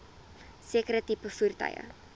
sekere tipe voertuie